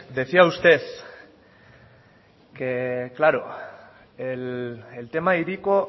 decía usted que claro el tema hiriko